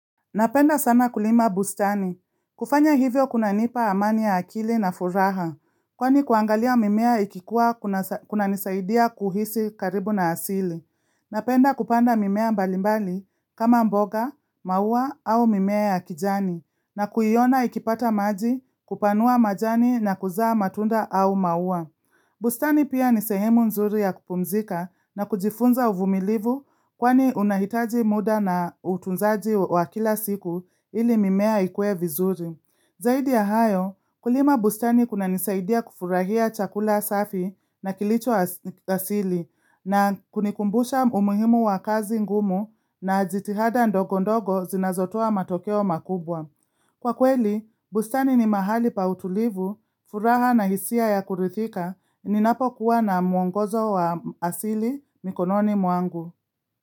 Napenda sana kulima bustani. Kufanya hivyo kuna nipa amani ya akili na furaha, kwani kuangalia mimea ikikua kuna nisaidia kuhisi karibu na asili. Napenda kupanda mimea mbalimbali kama mboga, maua au mimea ya kijani, na kuiona ikipata maji kupanua majani na kuzaa matunda au maua. Bustani pia nisehemu nzuri ya kupumzika na kujifunza uvumilivu kwani unahitaji muda na utunzaji wa kila siku ili mimea ikue vizuri. Zaidi ya hayo, kulima bustani kuna nisaidia kufurahia chakula safi na kilicho asili na kunikumbusha umuhimu wa kazi ngumu na jitihada ndogo ndogo zinazotua matokeo makubwa. Kwa kweli, bustani ni mahali pa utulivu, furaha na hisia ya kurithika, ninapo kuwa na muongozo wa asili mikononi mwangu.